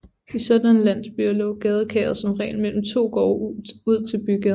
I sådanne landsbyer lå gadekæret som regel mellem to gårde ud til bygaden